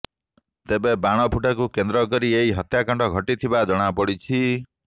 ତେବେ ବାଣଫୁଟାକୁ କେନ୍ଦ୍ର କରି ଏହି ହତ୍ୟାକାଣ୍ଡ ଘଟିଥିବା ଜଣାପଡ଼ିଛି